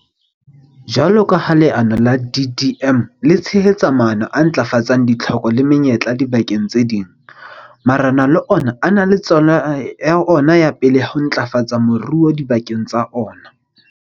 Jwalo ka ha leano la DDM le tshehetsa maano a ntlafatsang ditlhoko le menyetla dibakeng tse itseng, marena le ona a na le tsela ya ona e pele ya ho ntlafatsa moruo dibakeng tsa ona.